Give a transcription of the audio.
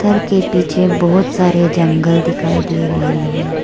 घर के पीछे बहुत सारे जंगल दिखाई दे रहे हैं।